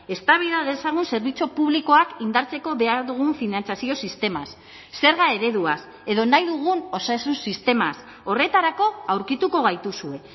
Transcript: eztabaida dezagun zerbitzu publikoak indartzeko behar dugun finantzazio sistemaz zerga ereduaz edo nahi dugun osasun sistemaz horretarako aurkituko gaituzue